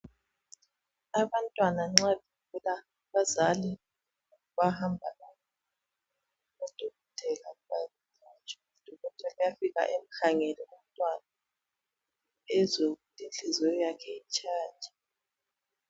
Abantwana nxa begula abazali bayahamba kubodokotela bayelatshwa. Udokotela uyafika emkhangele umntwana ezwe ukuthi inhliziyo yakhe itshaya njani.